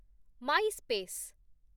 Myspace